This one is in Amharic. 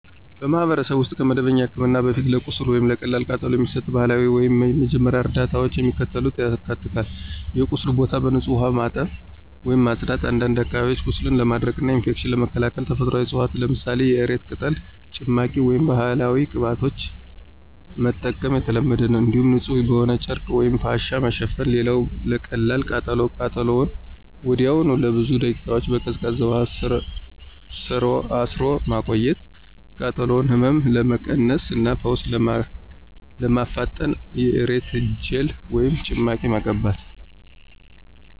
በማኅበረሰብ ውስጥ ከመደበኛ ሕክምና በፊት ለቁስል ወይም ለቀላል ቃጠሎ የሚሰጡ ባህላዊ ወይም የመጀመሪያ ደረጃ እርዳታዎች የሚከተሉትን ያካትታሉ የቁስሉን ቦታ በንጹሕ ውሃ መታጠብ ወይም ማጽዳት፣ አንዳንድ አካባቢዎች ቁስልን ለማድረቅና ኢንፌክሽንን ለመከላከል ተፈጥሯዊ ዕፅዋትን ለምሳሌ የእሬት ቅጠል ጭማቂ ወይም ባህላዊ ቅባቶችን መጠቀም የተለመደ ነው። እንዲሁም ንጹሕ በሆነ ጨርቅ ወይም ፋሻ መሸፈን። ሌላው ለቀላል ቃጠሎ ቃጠሎውን ወዲያውኑ ለብዙ ደቂቃዎች በቀዝቃዛ ውሃ ስር ማቆየት፣ የቃጠሎውን ህመም ለመቀነስ እና ፈውስ ለማፋጠን የእሬት ጄል ወይም ጭማቂ መቀባት።